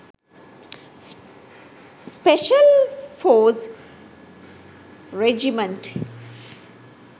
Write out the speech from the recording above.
special force regiment